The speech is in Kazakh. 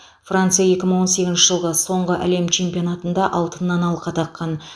франция екі мың он сегізінші жылғы соңғы әлем чемпионатында алтыннан алқа таққан